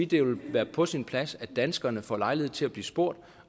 det vil være på sin plads at danskerne får lejlighed til at blive spurgt